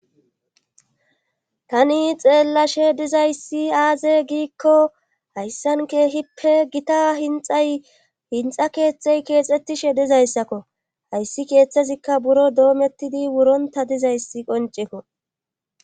Tani xeellashe dizayssi aaze giikko hayssan keehippe gita hinxay hinxa keeththey keexxettishe dizayssakko hayssi keeththezikka buro doomettidi wuronta dizayssi qonceko.